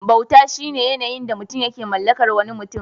Bauta shine yanayin da mutum yake mallakar wani mutum.